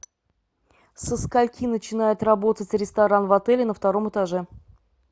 со скольки начинает работать ресторан в отеле на втором этаже